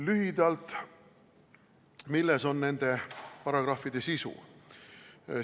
Lühidalt, milles on nende paragrahvide sisu?